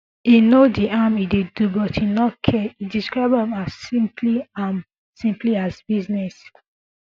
e know di harm e dey do but e no care e describe am smply am smply as business